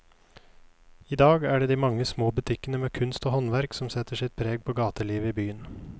I dag er det de mange små butikkene med kunst og håndverk som setter sitt preg på gatelivet i byen.